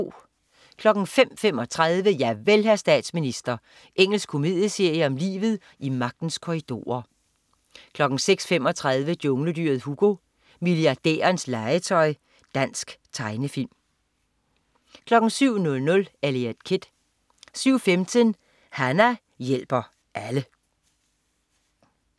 05.35 Javel, hr. Statsminister. Engelsk komedieserie om livet i magtens korridorer 06.35 Jungledyret Hugo, milliardærens legetøj. Dansk tegnefilm 07.00 Eliot Kid 07.15 Hana hjælper alle